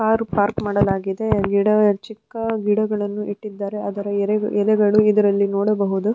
Car park ಮಾಡಲಾಗಿದೆ ಗಿಡ ಚಿಕ್ಕ ಗಿಡಗಳನ್ನು ಇಟ್ಟಿದ್ದಾರೆ ಅದರ ಎಲೆಗಳು ಎದುರಲ್ಲಿ ನೋಡಬಹುದು.